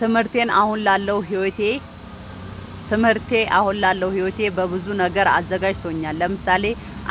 ትምህርቴ አሁን ላለው ህይወቴ በብዙ ነገር አዘጋጅቶኛል። ለምሳሌ፦